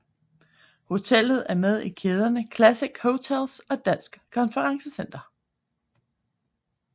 Hotellet er med i kæderne Classic Hotels og Danske Konferencecentre